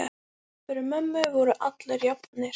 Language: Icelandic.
Fyrir mömmu voru allir jafnir.